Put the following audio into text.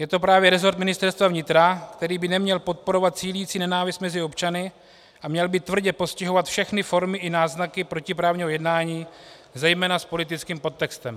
Je to právě rezort Ministerstva vnitra, který by neměl podporovat sílící nenávist mezi občany a měl by tvrdě postihovat všechny formy i náznaky protiprávního jednání, zejména s politickým podtextem.